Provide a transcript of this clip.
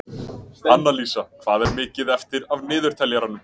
Annalísa, hvað er mikið eftir af niðurteljaranum?